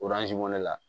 ne la